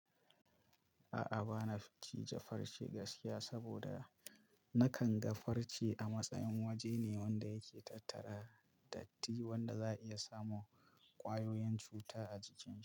A'a, ba na son cija farce gaskiya saboda na kan ga farce a matsayin waje ne wanda yake tattara datti wanda za a iya samo ƙwayoyin cuta a jikin.